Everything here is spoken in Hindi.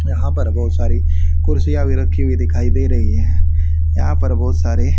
यहां पर बहुत सारी कुर्सियां भी रखी हुई दिखाई दे रही हैं यहां पर बहुत सारे--